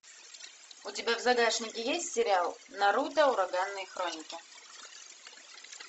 у тебя в загашнике есть сериал наруто ураганные хроники